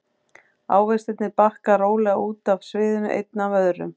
Ávextirnir bakka rólega út af sviðinu einn af öðrum.